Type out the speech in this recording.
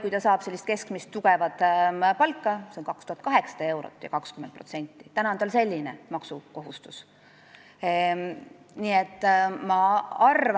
Kui ta saab n-ö keskmist tugevat palka, s.o 2800 eurot, siis praegu on tal selle pealt maksukohustus 20%.